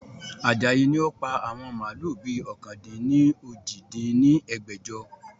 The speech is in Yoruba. Ajayi ni ó pa àwọn màálù bi ọ̀kan-dín-ní-ojì dín ní ẹgbẹ́jọ